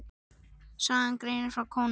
Sagan greinir frá konungi í